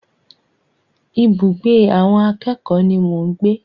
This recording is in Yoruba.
Ibùgbé àwọn akẹ́kòó ni mò ń gbé.